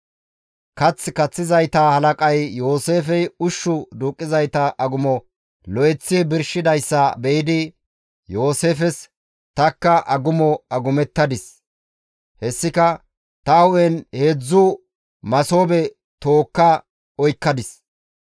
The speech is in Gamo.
Kath kaththizayta halaqay Yooseefey ushshu duuqqizayta agumo lo7eththi birshidayssa be7idi Yooseefes, «Tanikka agumo agumettadis; hessika, ‹Ta hu7en heedzdzu masoobe tookka oykkadis.